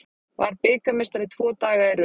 Varð bikarmeistari tvo daga í röð